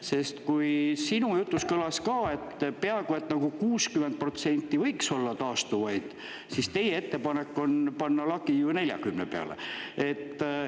Sest, kui sinu jutus kõlas ka, et peaaegu, et nagu 60% võiks olla taastuvaid, siis teie ettepanek on panna lagi ju 40% peale.